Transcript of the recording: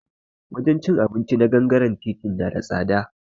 Wajen cin abinci na gangare titi na da tsada